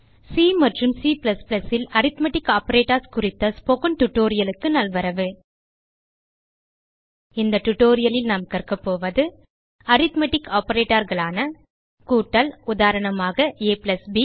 C மற்றும் C ல் arithmetic operators குறித்த ஸ்போக்கன் tutorialக்கு நல்வரவு இந்த tutorialலில் நாம் கற்கப்போவது அரித்மெட்டிக் operatorகளான கூட்டல் உதாரணமாக ab